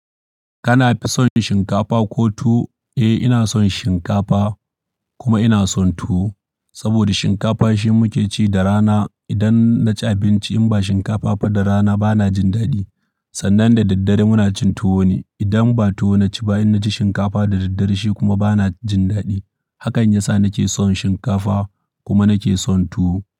Kana fi son shinkafa ko tuwo? Eh, ina son shinkafa kuma ina son tuwo saboda shinkafa shi muke ci da rana. Idan na ci abinci in ba shinkafa ba da rana bana jin daɗi. Sannan da daddare muna cin tuwo ne. Idan ba tuwo na ci bayan na ci shinkafa da daddare shi kuma bana jin daɗi. Hakan yasa nake son shinkafa kuma nake son tuwo.